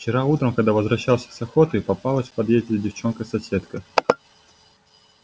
вчера утром когда возвращался с охоты попалась в подъезде девчонка-соседка